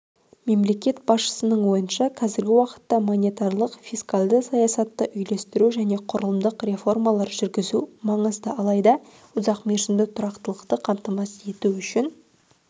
мемлекет басшысының ойынша қазіргі уақытта монетарлық фискалдық саясатты үйлестіру және құрылымдық реформалар жүргізу маңызды алайда ұзақ мерзімді тұрақтылықты қамтамасыз ету үшін